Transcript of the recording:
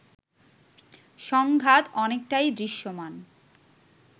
সংঘাত অনেকটাই দৃশ্যমান